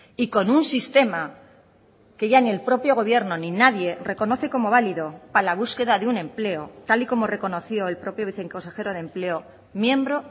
y con un sistema que ya ni el propio gobierno ni nadie reconoce como válido para la búsqueda de un empleo tal y como reconoció el propio viceconsejero de empleo miembro